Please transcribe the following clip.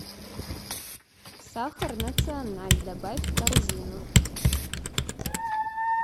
сахар националь добавь в корзину